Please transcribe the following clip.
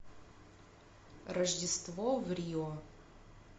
рождество в рио